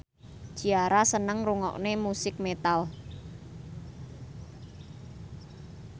Ciara seneng ngrungokne musik metal